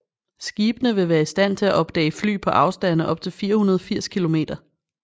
Skibene vil være i stand til at opdage fly på afstande op til 480 kilometer